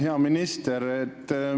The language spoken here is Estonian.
Hea minister!